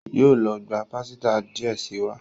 Yóó ló gbà pàsìta díẹ sí wá.